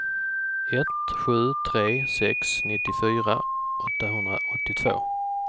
ett sju tre sex nittiofyra åttahundraåttiotvå